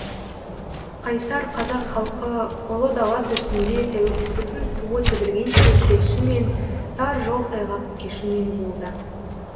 қайсар қазақ халқы ұлы дала төсінде тәуелсіздіктің туы тігілгенше күресумен тар жол тайғақ кешумен болды